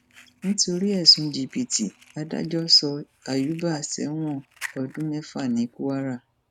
nítorí ẹsùn jìbìtì adájọ sọ àyùbá sẹwọn ọdún mẹfà ní kwara